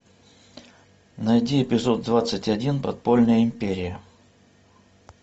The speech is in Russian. найди эпизод двадцать один подпольная империя